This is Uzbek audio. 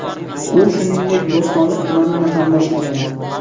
U, shuningdek, Bo‘stonliq tumanini ham boshqaradi.